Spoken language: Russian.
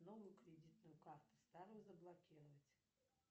новую кредитную карту старую заблокировать